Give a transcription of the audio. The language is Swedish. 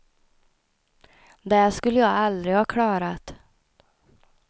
Det skulle jag aldrig ha klarat.